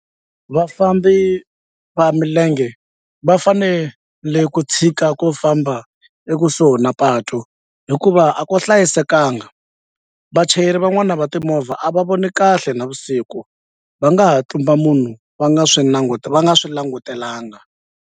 Vafambi va milenge va fanele ku tshika ku famba ekusuhi na patu hikuva a ku hlayisekanga vachayeri van'wana va timovha a va voni kahle navusiku va nga ha tlumba munhu va nga swi va nga swi langutelanga.